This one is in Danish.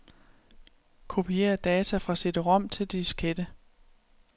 Kopier data fra cd-rom til diskette.